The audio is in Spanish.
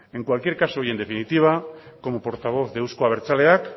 en cualquier caso y en definitiva como portavoz de euzko abertzaleak